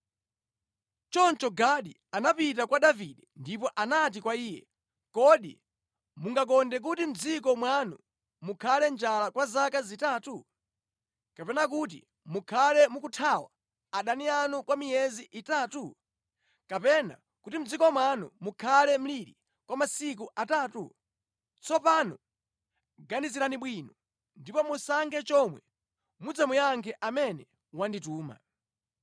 Choncho Gadi anapita kwa Davide ndipo anati kwa iye, “Kodi mungakonde kuti mʼdziko mwanu mukhale njala kwa zaka zitatu? Kapena kuti mukhale mukuthawa adani anu kwa miyezi itatu? Kapena kuti mʼdziko muno mukhale mliri kwa masiku atatu? Tsopano, ganizirani bwino ndipo musankhe chomwe mudzamuyankhe amene wandituma.”